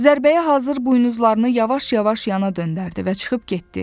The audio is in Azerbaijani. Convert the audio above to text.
Zərbəyə hazır buynuzlarını yavaş-yavaş yana döndərdi və çıxıb getdi.